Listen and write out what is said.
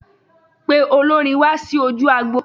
Pe olórin wá sí ojú agbo.